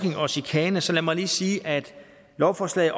chikane så lad mig lige sige at lovforslaget